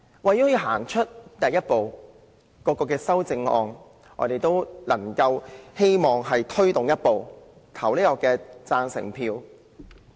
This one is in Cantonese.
為了向前走出第一步，我們希望大家對各項修正案投贊成票。